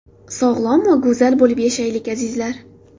Sog‘lom va go‘zal bo‘lib yashaylik, Azizlar!